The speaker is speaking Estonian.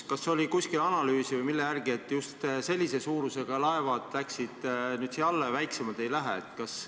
Kas on kuskil tehtud analüüsi või mille järgi otsustati, et just sellise suurusega laevad lähevad nüüd siia alla ja väiksemad ei lähe?